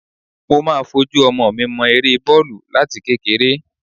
Mo máa fojú ọmọ mi mọ eré bọ́ọ̀lù láti kékeré